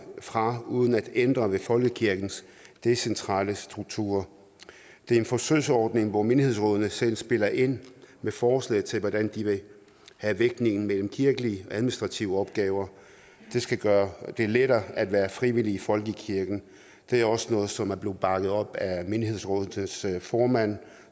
fra uden at ændre ved folkekirkens decentrale struktur det er en forsøgsordning hvor menighedsrådene selv spiller ind med forslag til hvordan de vil have vægtningen mellem kirkelige og administrative opgaver det skal gøre det lettere at være frivillig i folkekirken det er også noget som er blevet bakket op af menighedsrådenes formand